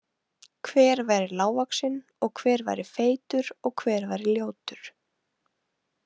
Hver væri lágvaxinn og hver væri feitur og hver væri ljótur.